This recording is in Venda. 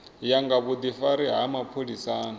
ya nga vhudifari ha mapholisani